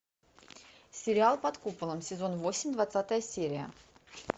сериал под куполом сезон восемь двадцатая серия